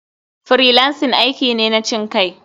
Freelancing aiki ne na cinkai.